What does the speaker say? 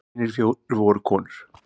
Hinir fjórir voru konur.